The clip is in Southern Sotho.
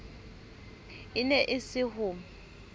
e ne e se ho